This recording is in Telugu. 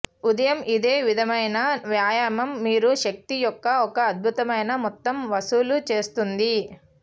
ఉదయం ఇదే విధమైన వ్యాయామం మీరు శక్తి యొక్క ఒక అద్భుతమైన మొత్తం వసూలు చేస్తుంది